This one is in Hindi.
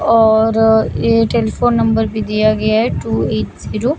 और ये टेलीफोन नंबर भी दिया गया है टू एट जीरो --